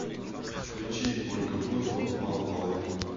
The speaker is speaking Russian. включи ольга бузова малополовин